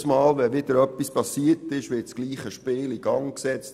Jedes Mal wenn wieder etwas geschehen ist, wird dasselbe Spiel in Gang gesetzt.